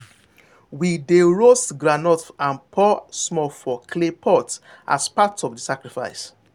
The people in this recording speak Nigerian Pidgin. we dey roast groundnut and pour small for clay pot as part of the sacrifice.